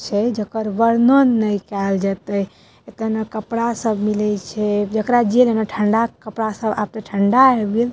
छै जकर वर्णन नए कएल जएते एते ने कपड़ा सब मिले छै जेकरा जे लेएना ठंडा के कपड़ा सब आब ते ठंडा आब गेल।